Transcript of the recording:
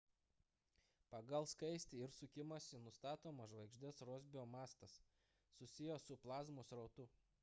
pagal skaistį ir sukimąsi nustatomas žvaigždės rosbio matas susijęs su plazmos srautu